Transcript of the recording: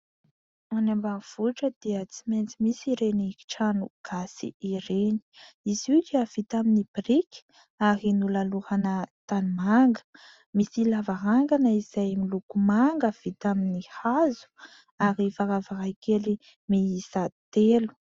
Any ambanivohitra dia tsy maintsy misy ireny kitrano gasy ireny, izy io dia vita amin'ny biriky ary nolalorana tanimanga; misy lavarangana izay miloko manga vita amin'ny hazo ary varavarankely miisa telo.